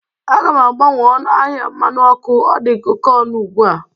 Aga m abawanye ọnụ ahịa mmanụ ọkụ, ọ dị oke ọnụ ugbu a